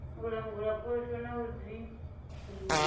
u langula phosho na u dzinginyea